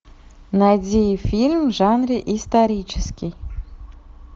найди фильм в жанре исторический